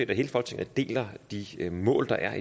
at hele folketinget deler de mål der